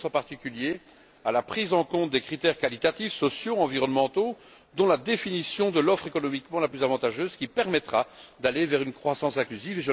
Je pense, en particulier, à la prise en compte des critères qualitatifs, sociaux et environnementaux, dont la définition de l'offre économiquement la plus avantageuse, qui permettra d'aller vers une croissance inclusive.